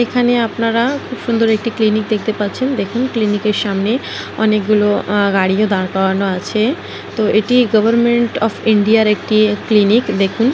এখানে আপনারা খুব সুন্দর একটি ক্লিনিক দেখতে পাচ্ছেন। দেখুন ক্লিনিকের সামনে অনেকগুলো গাড়িই দাঁড় করানো আছে। তো এটি গভারমেন্ট অফ ইন্ডিয়ার একটি ক্লিনিক দেখুন।